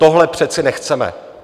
Tohle přece nechceme.